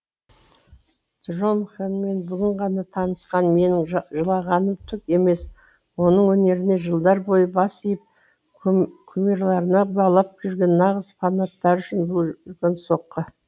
джонхенмен бүгін ғана таңысқан менің жылағаным түк емес оның өнеріне жылдар бойы бас иіп кумирларына балап жүрген нағыз фанаттары үшін бұл үлкен соққы